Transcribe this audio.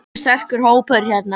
Nokkuð sterkur hópur hérna.